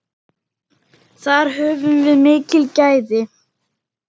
Þar höfum við mikil gæði.